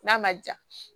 N'a ma ja